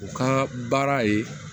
U ka baara ye